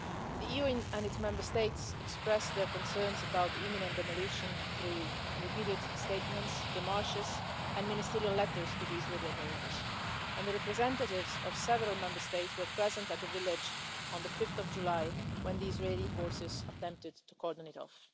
The EU and its Member States expressed their concerns about the imminent demolition through repeated statements, démarches and ministerial letters to the Israeli authorities, and the representatives of several Member States were present at the village on 5 July when the Israeli forces attempted to cordon it off.